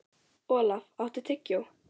Olaf, áttu tyggjó?